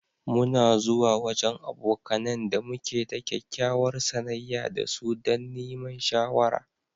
Mu na zuwa wajen abokanen da muke da kyakkyawar sanayya da su dan niman shawara.